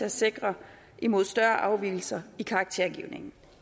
at sikre imod større afvigelser i karaktergivningen